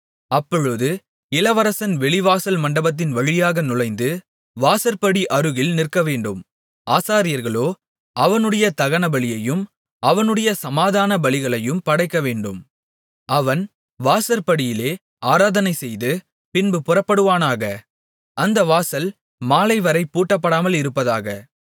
அப்பொழுது இளவரசன் வெளிவாசல் மண்டபத்தின் வழியாக நுழைந்து வாசற்படி அருகில் நிற்கவேண்டும் ஆசாரியர்களோ அவனுடைய தகனபலியையும் அவனுடைய சமாதான பலிகளையும் படைக்கவேண்டும் அவன் வாசற்படியிலே ஆராதனை செய்து பின்பு புறப்படுவானாக அந்த வாசல் மாலைவரை பூட்டப்படாமல் இருப்பதாக